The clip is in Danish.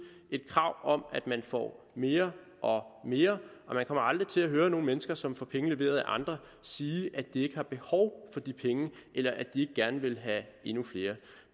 et krav om at man får mere og mere og vi kommer aldrig til at høre nogen mennesker som får pengene leveret af andre sige at de ikke har behov for de penge eller at de ikke gerne vil have endnu flere